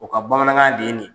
O ka bamanankan de ye nin